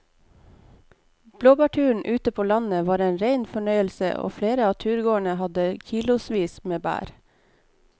Blåbærturen ute på landet var en rein fornøyelse og flere av turgåerene hadde kilosvis med bær.